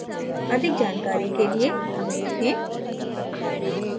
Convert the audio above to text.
अधिक जानकारी के लिए हमें लिखें